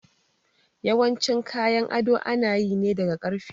Yawancin kayan ado ana yi ne daga ƙarfe